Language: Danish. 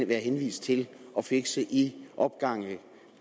være henvist til at fixe i opgange